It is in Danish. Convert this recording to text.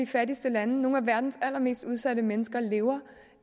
fattigste lande nogle af verdens allermest udsatte mennesker lever